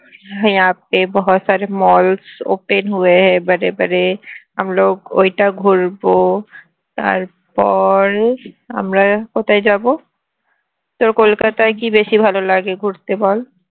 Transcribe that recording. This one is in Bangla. malls open ঐটা ঘুরবো তারপর আমরা কোথায় যাবো তোর কলকাতায় কি বেশি ভালো লাগে ঘুরতে বল